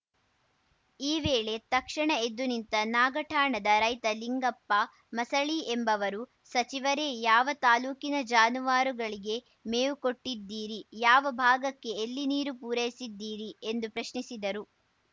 ಈ ವೇಳೆ ತಕ್ಷಣ ಎದ್ದುನಿಂತ ನಾಗಠಾಣದ ರೈತ ಲಿಂಗಪ್ಪ ಮಸಳಿ ಎಂಬುವರು ಸಚಿವರೇ ಯಾವ ತಾಲೂಕಿನ ಜಾನುವಾರುಗಳಿಗೆ ಮೇವು ಕೊಟ್ಟಿದ್ದೀರಿ ಯಾವ ಭಾಗಕ್ಕೆ ಎಲ್ಲಿ ನೀರು ಪೂರೈಸಿದ್ದೀರಿ ಎಂದು ಪ್ರಶ್ನಿಸಿದರು